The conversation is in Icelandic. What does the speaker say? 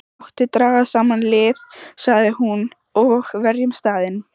Láttu draga saman lið, sagði hún,-og verjum staðinn.